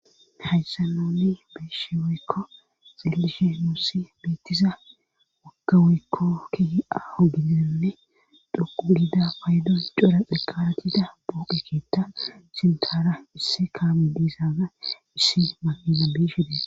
Hayssa nonni biishe weykko xillishe nuusi biittiza woggawoykko ki aho gidenne dhoqu udida paydon cora xeqaratida pooqekitta sintara issi kaame diisaaza issi maqeza biishedee.